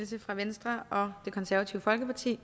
dækker venstre og det konservative folkeparti